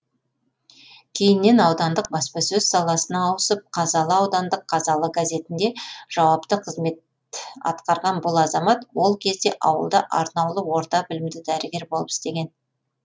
кейіннен аудандық баспасөз саласына ауысып қазалы аудандық қазалы газетінде жауапты қызмет атқарған бұл азамат ол кезде ауылда арнаулы орта білімді дәрігер болып істеген